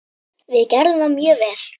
Við gerðum það mjög vel.